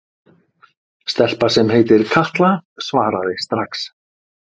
Stelpa sem heitir Katla svaraði strax.